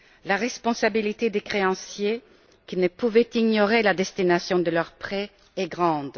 La responsabilité des créanciers, qui ne pouvaient ignorer la destination des prêts octroyés, est grande.